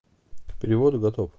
к переводу готов